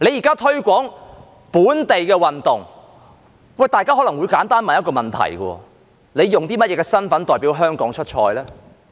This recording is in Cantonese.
在推廣本地運動時，大家可能會問一個簡單問題：運動員用甚麼身份代表香港出賽呢？